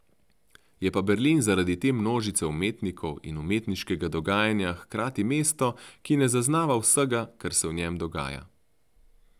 Je pa Berlin zaradi te množice umetnikov in umetniškega dogajanja hkrati mesto, ki ne zaznava vsega, kar se v njem dogaja.